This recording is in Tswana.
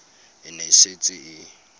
e ne e setse e